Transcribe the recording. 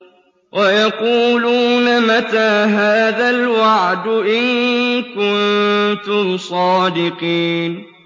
وَيَقُولُونَ مَتَىٰ هَٰذَا الْوَعْدُ إِن كُنتُمْ صَادِقِينَ